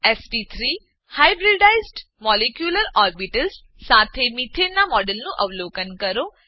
SP3 hybridised molecular orbitals સાથે methane methane નાં મોડેલનું અવલોકન કરો